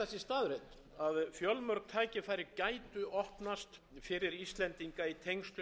að fjölmörg tækifæri gætu opnast fyrir íslendinga í tengslum við þjónustu gagnvart